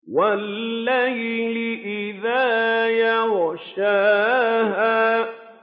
وَاللَّيْلِ إِذَا يَغْشَاهَا